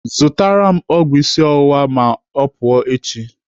Zụtara m ọgwụ isi ọwụwa ma ọ pụọ echi.